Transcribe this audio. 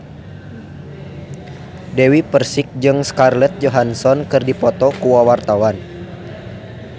Dewi Persik jeung Scarlett Johansson keur dipoto ku wartawan